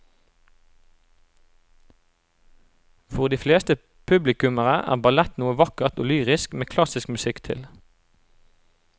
For de fleste publikummere er ballett noe vakkert og lyrisk med klassisk musikk til.